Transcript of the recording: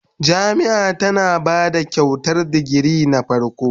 Jami'ia tana ba Kyautar digiri na farko